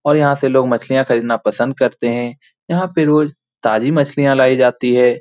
और यहाँ से लोग मछलियाँ खरीदना पसंद करते है यहाँ पे रोज ताज़ी मछलियाँ लाई जाती है।